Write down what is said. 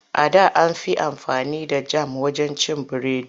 A da an fi amfani da jam wajen cin biredi.